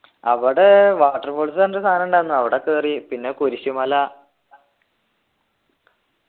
അവിടെ water falls പറഞ്ഞിട്ട് സാനം ഉണ്ടായിരുന്നു അവിടെ കേറി പിന്നെ കുരിശു മല